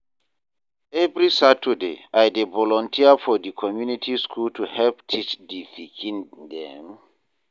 Every Saturday, I dey volunteer for di community school to help teach di pikin dem.